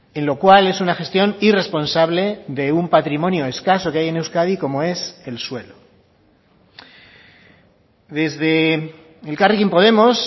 en lo cual es una gestión irresponsable de un patrimonio escaso que hay en euskadi como es el suelo desde elkarrekin podemos